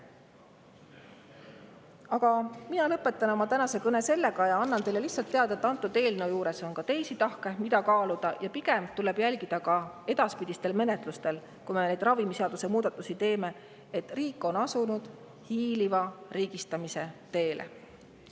Aga mina lõpetan oma tänase kõne, andes teile teada, et antud eelnõul on ka teisi tahke, mida kaaluda, ja pigem tuleb jälgida edaspidistel menetlustel, kui me ravimiseaduse muudatusi teeme, seda, kas riik on asunud hiiliva riigistamise teele.